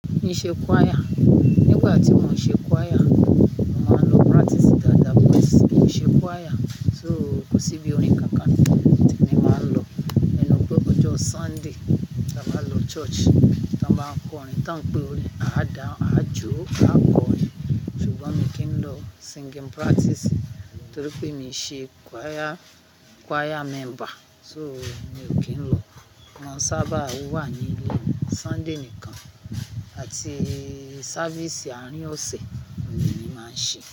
Mi ṣe choir. Nígbà tí mo ṣe choir, mo máa ń lọ practice dáadáa pé mi ṣe choir. So kò sí bí òrín kankan tí mi i máa n lọ. Ẹnu pé ọjọ́ Sunday la máa lọ church, tà máa n kọrin. Tán pẹ́ òrin, a dà, a jó, a kọrin. Ṣùgbọ́n mi kì í lọ singing practice torí pé mi ṣe choir, choir member. So, mi ò kí ń lọ. Won sábà wà ní ilé Sunday nìkan àti service àárín ọ̀sẹ̀ le mi màá n ṣe.